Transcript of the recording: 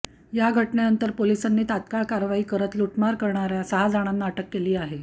या घटनेनंतर पोलिसांनी तात्काळ कारवाई करत लुटमार करणाऱ्या सहा जणांना अटक केली आहे